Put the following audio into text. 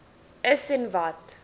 is en wat